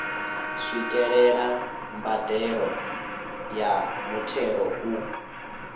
swikelela mbadelo ya muthelo u